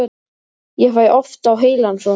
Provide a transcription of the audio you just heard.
Ég fæ oft á heilann svona.